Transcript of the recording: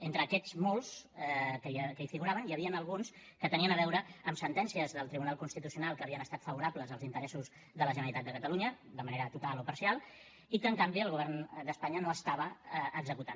entre aquests molts que hi figuraven n’hi havien alguns que tenien a veure amb sentències del tribunal constitucional que havien estat favorables als interessos de la generalitat de catalunya de manera total o parcial i que en canvi el govern d’espanya no estava executant